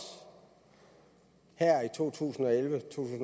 her i to tusind og elleve to